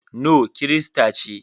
No kirista ce.